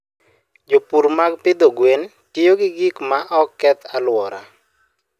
Jopur mag pidho gwen tiyo gi gik ma ok keth alwora.